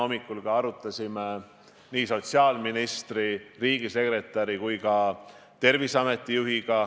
Lisaks on kohtasid, kus neid teste tehakse, tublisti juurde tulnud ja seda ka Tallinnast väljaspool.